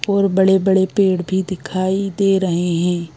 और बड़े बड़े पेड़ भी दिखाई दे रहे हैं।